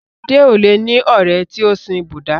Sadé ò le ní ọ̀rẹ́ tí o sin Búdà.